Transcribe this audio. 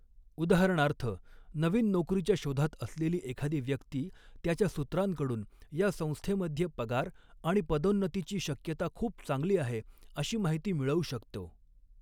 उदाहरणार्थ नवीन नोकरीच्या शोधात असलेली एखादी व्यक्ती त्याच्या सूत्रांकडून या संस्थेमध्ये पगार आणि पदोन्नतीची शक्यता खूप चांगली आहे अशी माहिती मिळऊ शकतो.